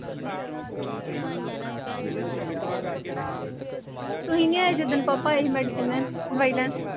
ਤੁਸੀਂ ਨੀ ਆਏ ਜਿੱਦਣ ਪਾਪਾ ਆਏ ਸੀ ਮੈਡੀਸਿਨ ਲੈਣ ਦਵਾਈ ਲੈਣ।